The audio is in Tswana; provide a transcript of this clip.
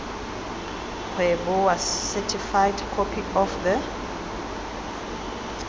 kgweboa certified copy of the